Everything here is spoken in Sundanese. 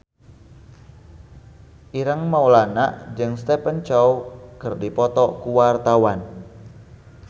Ireng Maulana jeung Stephen Chow keur dipoto ku wartawan